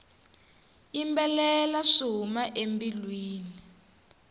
yimbelela swi huma embilwini